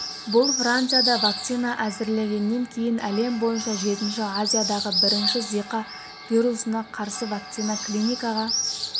бұл францияда вакцина әзірлегеннен кейін әлем бойынша жетінші азиядағы бірінші зика вирусына қарсы вакцина клиникаға